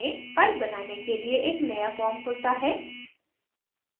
file बनाने के लिए एक नया form खुलता है